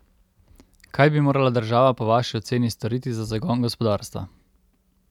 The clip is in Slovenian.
Kaj bi morala država po vaši oceni storiti za zagon gospodarstva?